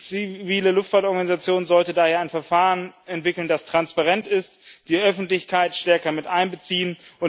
Die zivile Luftfahrtorganisation sollte daher ein Verfahren entwickeln, das transparent ist, und die Öffentlichkeit stärker miteinbeziehen.